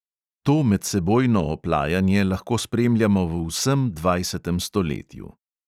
To medsebojno oplajanje lahko spremljamo v vsem dvajsetem stoletju.